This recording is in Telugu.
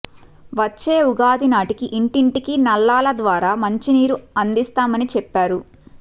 వచ్చే ఉగాది నాటికి ఇంటింటికి నల్లాల ద్వారా మంచినీరు అందిస్తామని చెప్పారు